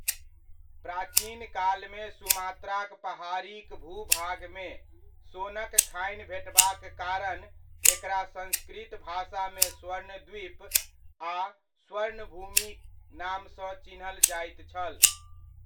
प्राचिनकालमे सुमात्राक पहाड़ीक भूभागमे, सुनक खानी भेटबाक कारण एकरा संस्कृत भाषामे स्वर्णद्वीप आ स्वर्णभूमि नामसँ चिन्हल जाइत छल।